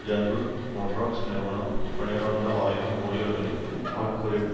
general Motors நிறுவனம் பனிரண்டு ஆயிரம் ஊழியர்களை ஆட்குறைப்பு